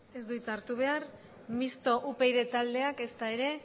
ez du hitz hartu behar mixto upyd taldeak ezta ere